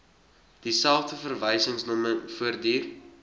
dieselfde verwysingsnommer voortduur